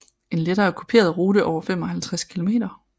En lettere kuperet rute over 55 kilometer